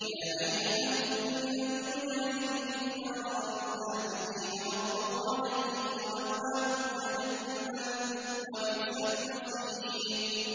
يَا أَيُّهَا النَّبِيُّ جَاهِدِ الْكُفَّارَ وَالْمُنَافِقِينَ وَاغْلُظْ عَلَيْهِمْ ۚ وَمَأْوَاهُمْ جَهَنَّمُ ۖ وَبِئْسَ الْمَصِيرُ